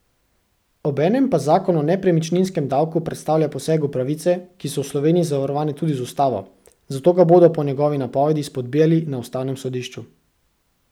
Obenem pa zakon o nepremičninskem davku predstavlja poseg v pravice, ki so v Sloveniji zavarovane tudi z ustavo, zato ga bodo po njegovi napovedi spodbijali na ustavnem sodišču.